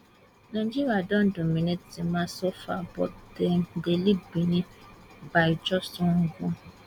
nigeria don dominate di match so far but dem dey lead benin by just one goal